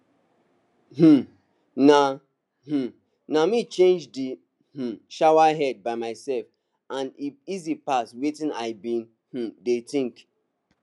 um na um na me change d um showerhead by myself and e easy pass wetin i been um dey think